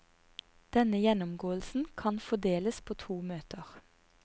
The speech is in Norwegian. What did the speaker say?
Denne gjennomgåelsen kan fordeles på to møter.